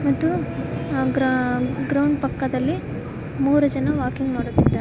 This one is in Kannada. ಮತ್ತು ಗ್ರ ಗ್ರೌಂಡ್ ಪಕ್ಕದಲ್ಲಿ ಮೂರು ಜನ ವಾಕಿಂಗ್ ಮಾಡುತ್ತಿದ್ದಾರೆ.